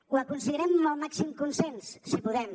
ho aconseguirem amb el màxim consens si podem